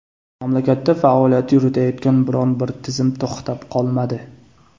Mamlakatda faoliyat yuritayotgan biron-bir tizim to‘xtab qolmadi.